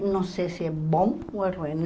não sei se é bom ou é ruim.